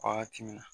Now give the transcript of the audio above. Wagati min na